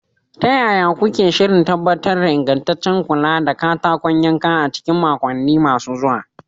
Ta yaya kuke shirin tabbatar da ingantaccen kula da katakon yanka a cikin makonni masu zuwa?